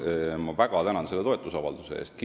Ma väga tänan selle toetusavalduse eest!